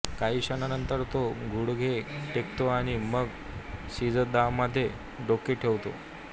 काही क्षणांनंतर तो गुडघे टेकतो आणि मग सिजदामध्ये डोके टेकवतो